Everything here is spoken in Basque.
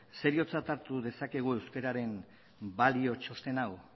seriotzat hartu dezakegu euskararen balio txosten hau